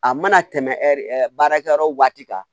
A mana tɛmɛ ɛ baarakɛyɔrɔ waati kan